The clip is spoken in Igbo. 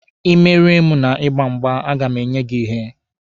Ị merie m na ịgba mgba, a ga m enye gị ihe